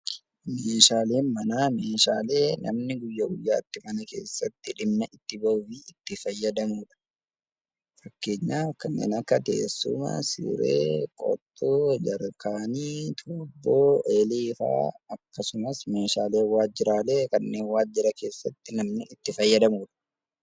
Meeshaaleen manaa meeshaalee namni guyyaa guyyaatti mana keessatti dhimma itti bahuu fi fayyadamudha. Fakkeenyaaf kan akka teessuma, siree, qottoo, jerkaanii, xuuxxoo fi eelee fa'aa akkasumas meeshaaleen waajjiraalee kanneen waajjira keessatti namni itti fayyadamudha .